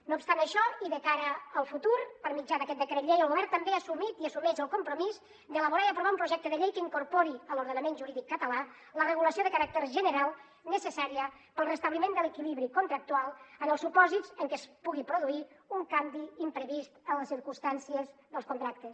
no obstant això i de cara al futur per mitjà d’aquest decret llei el govern també ha assumit i assumeix el compromís d’elaborar i aprovar un projecte de llei que incorpori a l’ordenament jurídic català la regulació de caràcter general necessària per al restabliment de l’equilibri contractual en els supòsits en què es pugui produir un canvi imprevist en les circumstàncies dels contractes